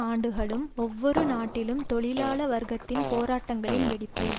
ஆண்டுகளும் ஒவ்வொரு நாட்டிலும் தொழிலாள வர்க்கத்தின் போராட்டங்களின் வெடிப்பைக்